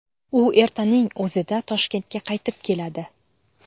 U ertaning o‘zida Toshkentga qaytib keladi.